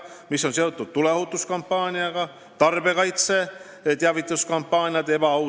Tarbijakaitseameti teavituskampaaniad on olnud suunatud ebaausate kauplemisvõtete vastu.